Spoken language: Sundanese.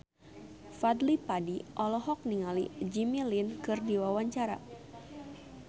Fadly Padi olohok ningali Jimmy Lin keur diwawancara